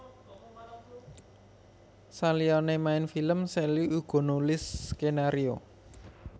Saliyané main film Sally uga nulis skenario